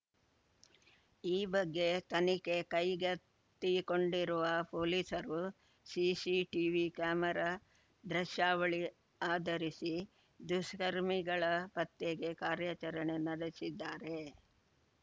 ಈ ಬಗ್ಗೆ ತನಿಖೆ ಕೈಗೆತ್ತಿಕೊಂಡಿರುವ ಪೊಲೀಸರು ಸಿಸಿಟಿವಿ ಕ್ಯಾಮೆರಾ ದೃಶ್ಯಾವಳಿ ಆಧರಿಸಿ ದುಷ್ಕರ್ಮಿಗಳ ಪತ್ತೆಗೆ ಕಾರ್ಯಾಚರಣೆ ನಡೆಸಿದ್ದಾರೆ